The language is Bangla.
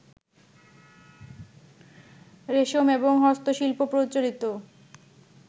রেশম, এবং হস্তশিল্প প্রচলিত